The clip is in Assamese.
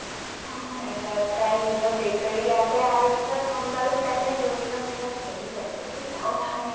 টাইৰ নিজৰ bakery আছে মানে আৰু পিছত গম পালো তাই মানে ৰোয়িংৰ বিৰাত ধনী মানুহ বুজিছা